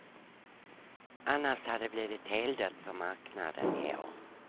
Annars hade det blivit heldött på marknaden i år.